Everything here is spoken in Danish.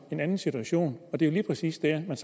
en anden situation det er lige præcis der man